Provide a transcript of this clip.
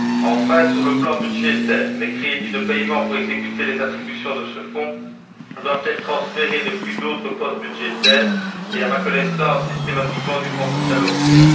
Enfin, sur le plan budgétaire, les crédits de paiement pour exécuter les attributions de ce Fonds doivent être transférés depuis d'autres postes budgétaires et, à ma connaissance, systématiquement du Fonds social européen.